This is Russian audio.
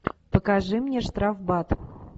покажи мне штрафбат